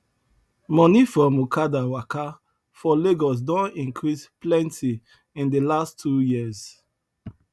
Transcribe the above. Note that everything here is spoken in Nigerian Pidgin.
money from okada waka for lagos don increase plenty in the last two years